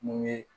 Mun ye